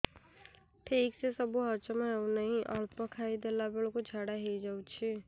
ଠିକସେ ସବୁ ହଜମ ହଉନାହିଁ ଅଳ୍ପ ଖାଇ ଦେଲା ବେଳ କୁ ଝାଡା ହେଇଯାଉଛି